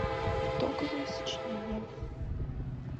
итоговое сочинение